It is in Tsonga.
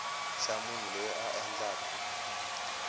xa munhu loyi a endlaku